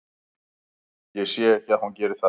Ég sé ekki að hún geri það.